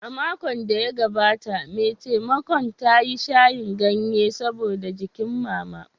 A makon da ya gabata, mai taimakon ta yi shayin ganye saboda jikin Mama.